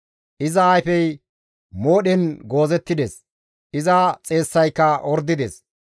«Iza ayfey moodhen goozettides; iza xeessayka ordides.